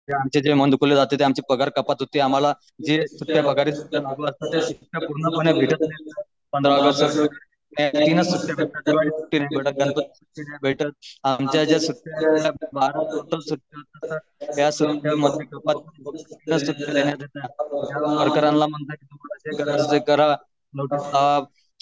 हे आमचे जे मन दुखावले जाते आमचे पगार कापत होते आम्हाला जे